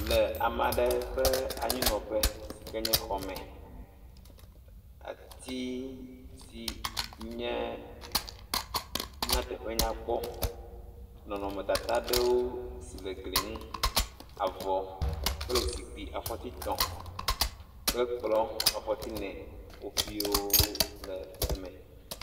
Le ame aɖe ƒe anyinɔƒe si ke nye xɔme, ati si nye na teƒe nyakpɔ nɔnɔmetata aɖewo si le gli ŋu, avɔ kple zikpui aƒɔti etɔ̃ kple kplɔ afɔti ene wofio wole eme.